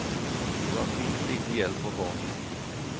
Det var fint lite hjelp å få.